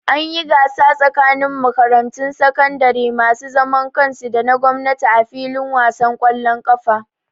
An yi gasa tsakanin makarantun sakandare masu zaman kansu da na gwamnati a fillin wasan ƙwallon ƙafa